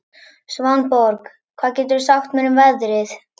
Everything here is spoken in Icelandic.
Svanborg, hvað geturðu sagt mér um veðrið?